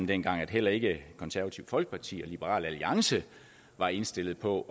dengang at heller ikke det konservative folkeparti og liberal alliance var indstillet på